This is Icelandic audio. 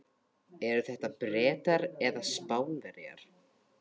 Eru þetta Bretar eða Spánverjar?